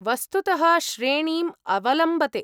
वस्तुतः श्रेणीम् अवलम्बते।